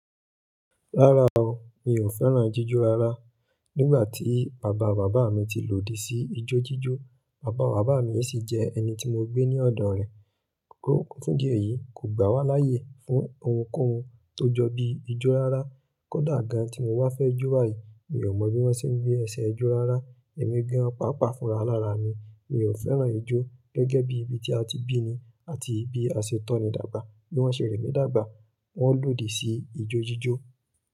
Rárá o, mi ò fẹ́ràn jíjó rárá. Nígbà tí bàbá bàbá mi ti lòdì sí ijó jíjó, bàbá bàbá mi sì jẹ́ ẹni tí mo gbé ní ọ̀dọ̀ rẹ̀. Kọ́kọ́ fún di eyìí kò gbà wá láyè fún ohunkóhun tó jọ bí ijó rárá. Kódà gan tí mo ba fẹ́ jó báyìí, mi ò mọ̀ bí wọ́n ṣe ń gbé ẹsẹ̀ ijó rárá. Ẹ̀mí gan-an pàápàá fúnra lára mi. Mi ò fẹ́ràn ijó gẹ́gẹ́ bí ibi tí a ti bíni àti bi àsetonní dàgbà. Bí wọ́n ṣe rẹ̀ mì dàgbà, wọ́n lòdì sí ijó jíjó.